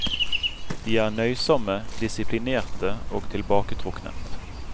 De er nøysomme, disiplinerte og tilbaketrukne.